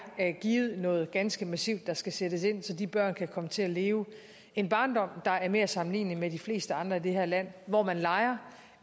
noget ganske massivt der skal sættes ind med så de børn kan komme til at leve en barndom der er mere sammenlignelig med de fleste andres her land hvor man leger